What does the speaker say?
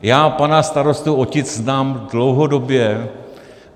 Já pana starostu Otic znám dlouhodobě.